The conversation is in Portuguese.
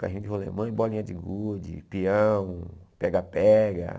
Carrinho de rolemã e bolinha de gude, peão, pega-pega.